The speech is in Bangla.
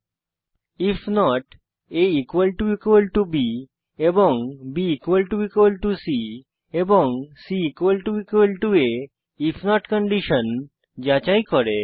আইএফ নট aবি এবং bসি এবং cআ আইএফ নট কন্ডিশন যাচাই করে